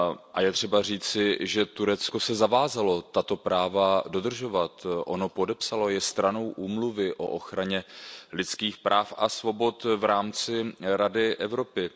A je třeba říci, že Turecko se zavázalo tato práva dodržovat, je stranou Úmluvy o ochraně lidských práv a svobod v rámci Rady Evropy.